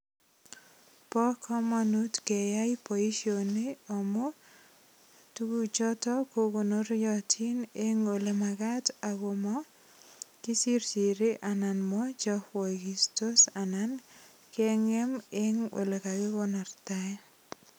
Bo kamanut keyai boisioni amu tuguchoto ko konoriatin eng olemagat ak koma kisirsiri anan machapaigistos anan kengem eng olegigonortae.